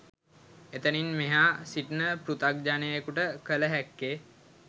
එතනින් මෙ‍හා සිටින පෘතග්ජනයෙකුට කල හැක්කේ